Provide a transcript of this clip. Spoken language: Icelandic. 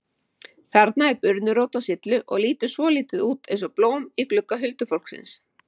Þarna er burnirót á syllu og lítur svolítið út eins og blóm í glugga huldufólksins.